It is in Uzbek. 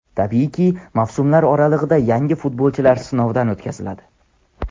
Tabiiyki, mavsumlar oralig‘ida yangi futbolchilar sinovdan o‘tkaziladi.